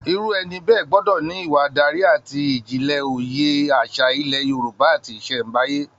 Irú ẹni bẹ́ẹ̀ gbọ́dọ̀ ní ìwà adarí àti ìjìnlẹ̀ òye àṣà ilẹ̀ Yorùbá àti ìṣẹ̀nbáyé